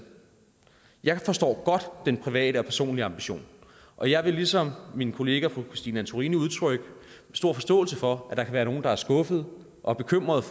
jeg forstår godt den private og personlige ambition og jeg vil ligesom min kollega fru christine antorini udtrykke stor forståelse for at være nogle der er skuffede og bekymrede